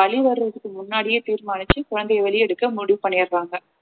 வலி வர்றதுக்கு முன்னாடியே தீர்மானிச்சு குழந்தையை வெளிய எடுக்க முடிவு பண்ணிடுறாங்க